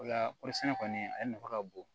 O la kɔɔri sɛnɛ kɔni ale nafa ka bon